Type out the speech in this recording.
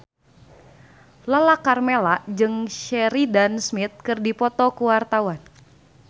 Lala Karmela jeung Sheridan Smith keur dipoto ku wartawan